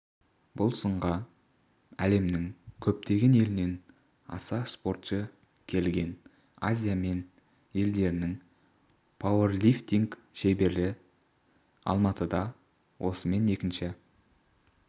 бұл сынға әлемнің көптеген елінен аса спортшы келген азия мен елдерінің пауэрлифтинг шеберлері алматыда осымен екінші